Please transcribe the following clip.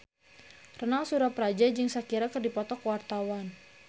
Ronal Surapradja jeung Shakira keur dipoto ku wartawan